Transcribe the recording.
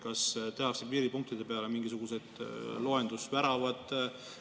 Kas tehakse piiripunktide peale mingisugused loendusväravad?